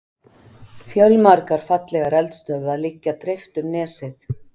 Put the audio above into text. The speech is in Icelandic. Fjölmargar fallegar eldstöðvar liggja dreift um nesið.